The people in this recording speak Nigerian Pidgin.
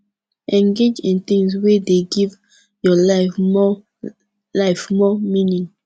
engage in things wey dey give your life more life more meaning